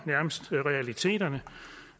realiteterne